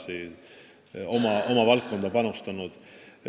Nad on oma valdkonda palju panustanud.